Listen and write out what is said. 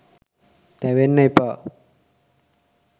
තැවෙන්න එපා.